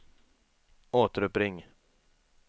återuppring